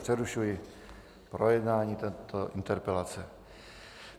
Přerušuji projednávání této interpelace.